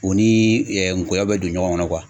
U ni ngɔyɔ bɛ don ɲɔgɔn kɔnɔ